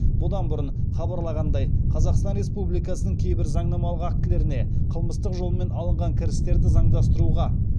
бұдан бұрын хабарланғандай қазақстан республикасының кейбір заңнамалық актілеріне қылмыстық жолмен алынған кірістерді заңдастыруға